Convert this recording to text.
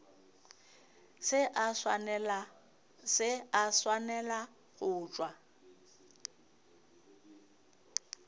se a swanela go tšwa